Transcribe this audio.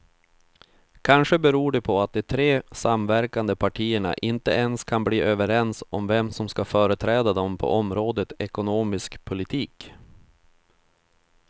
Kanske beror det på att de tre samverkande partierna inte ens kan bli överens om vem som ska företräda dem på området ekonomisk politik.